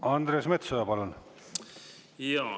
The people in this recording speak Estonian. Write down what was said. Andres Metsoja, palun!